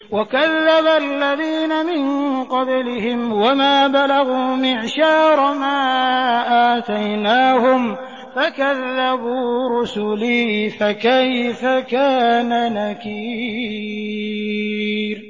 وَكَذَّبَ الَّذِينَ مِن قَبْلِهِمْ وَمَا بَلَغُوا مِعْشَارَ مَا آتَيْنَاهُمْ فَكَذَّبُوا رُسُلِي ۖ فَكَيْفَ كَانَ نَكِيرِ